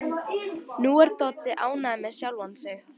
Nú er Doddi ánægður með sjálfan sig.